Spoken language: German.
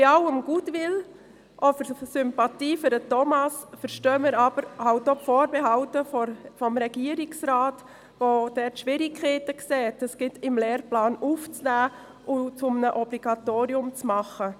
Bei allem Goodwill und aller Sympathie gegenüber Thomas Fuchs, verstehen wir aber auch die Vorbehalte des Regierungsrates, der Schwierigkeiten sieht, dies in den Lehrplan aufzunehmen und zu einem Obligatorium zu machen.